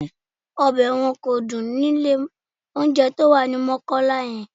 Ọbẹ̀ wọn kò dùn ni ilé-olóunjẹ tó wà ní Mọ́kọ́lá yẹn